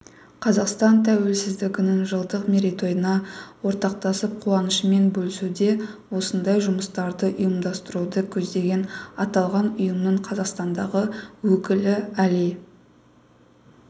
қазақстан тәуелсіздігінің жылдық мерейтойына ортақтасып қуанышымен бөлісуде осындай жұмыстарды ұйымдастыруды көздеген аталған ұйымның қазақстандағы өкілі әли